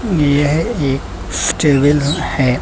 यह एक स्टेबिल है।